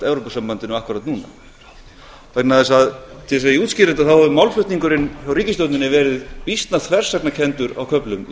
gagnvartevrópusambandinu akkúrat núna til þess að ég útskýri þetta þá hefur málflutningurinn hjá ríkisstjórninni verið býsna þversagnarkenndur á köflum í